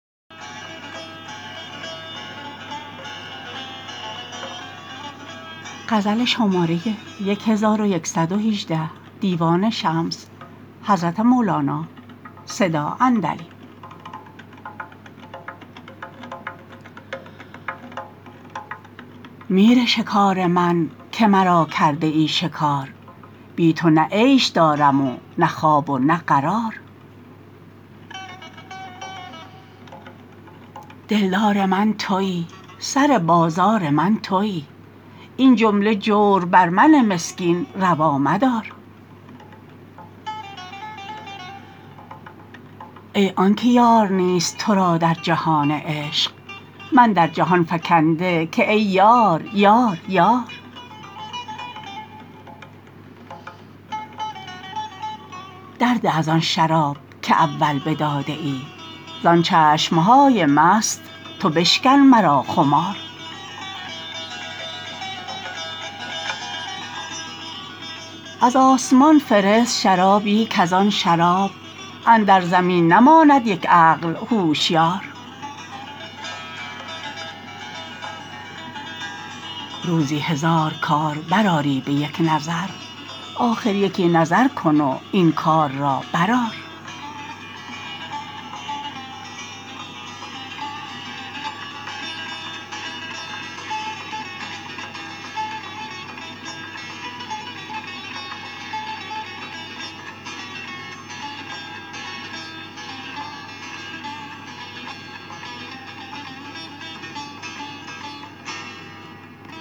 میر شکار من که مرا کرده ای شکار بی تو نه عیش دارم و نه خواب و نه قرار دلدار من توی سر بازار من توی این جمله جور بر من مسکین روا مدار ای آنک یار نیست تو را در جهان عشق من در جهان فکنده که ای یار یار یار درده از آن شراب که اول بداده ای زان چشم های مست تو بشکن مرا خمار از آسمان فرست شرابی کز آن شراب اندر زمین نماند یک عقل هوشیار روزی هزار کار برآری به یک نظر آخر یکی نظر کن و این کار را برآر